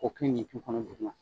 K'o kɛ ɲinti kɔnɔ dugu ma